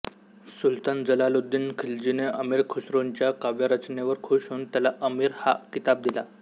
सुलतान जलालुद्दीन खिलजीने अमीर खुसरोंच्या काव्यरचनेवर खूष होऊन त्याला अमीर हा किताब दिला